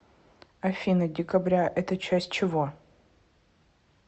афина декабря это часть чего